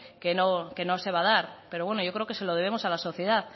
que no se va a dar pero yo creo que se lo debemos a la sociedad